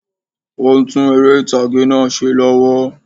Óún tún eré ìtàgé náà se lọ́wọ́